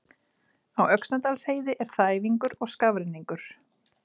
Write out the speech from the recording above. Á Öxnadalsheiði er þæfingur og skafrenningur